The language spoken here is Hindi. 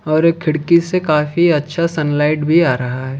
और एक खिड़की से काफी अच्छा सनलाइट भी आ रहा है।